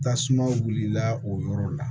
Tasuma wulila o yɔrɔ la